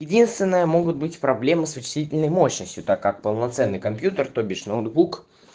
единственное могут быть проблемы с усиленной мощностью так как полноценный компьютер то бишь ноутбук